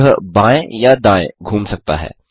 यह बाएँ या दाएँ घूम सकता है